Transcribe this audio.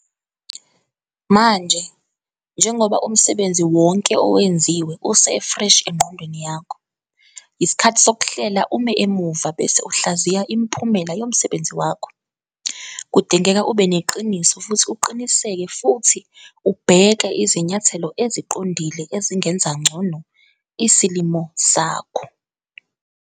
Manje, njengoba umsebenzi wonke owenziwe usefreshi engqondweni yakho, yisikhathi sokuhlehla ume emuva bese uhlaziya imiphumela yomsebenzi wakho, kudingeka ube neqiniso futhi uqiniseke futhi ubheke izinyathelo eziqondile ezingenza ngcono isilimo sakho.